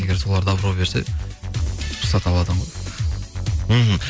егер солар добро берсе рұқсат алады ғой мхм